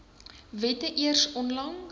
wette eers onlangs